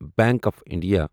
bank of India